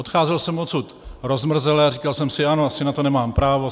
Odcházel jsem odsud rozmrzele a říkal jsem si: Ano, asi na to nemám právo.